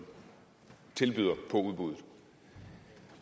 byder på udbuddet